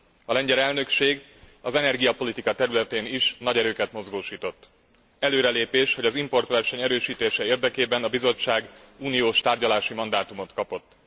A lengyel elnökség az energiapolitika területén is nagy erőket mozgósított. Előrelépés, hogy az importverseny erősítése érdekében a Bizottság uniós tárgyalási mandátumot kapott.